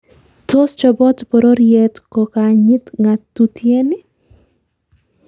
Tos chobot bororiet ko kanyit ng'atutieni?